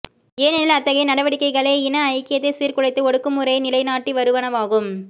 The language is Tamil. ஏனெனில் அத்தகைய நடவடிக்கைகளே இன ஐக்கியத்தைச் சீர்குலைத்து ஒடுக்குமுறையை நிலைநாட்டி வருவனவாகும்